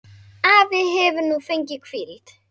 Afi hefur nú fengið hvíld.